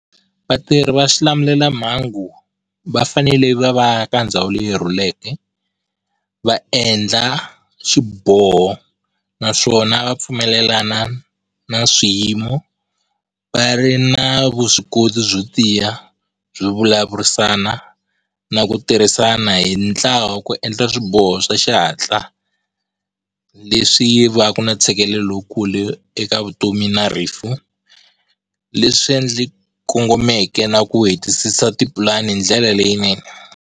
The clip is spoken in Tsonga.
Vatirhi va xilamulelamhangu va fanele va va ka ndhawu leyi rhuleke va endla xiboho naswona va pfumelelana na swiyimo, va ri na vuswikoti byo tiya byo vulavurisana na ku tirhisana hi ntlawa ku endla swiboho swa xihatla, leswi va ka na tshikelelo lowukulu eka vutomi na rifu leswi endli kongomeke na ku hetisisiwa tipulani hindlela leyinene.